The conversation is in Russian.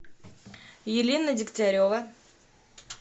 елена дегтярева